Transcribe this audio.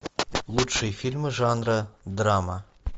лучшие фильмы жанра драма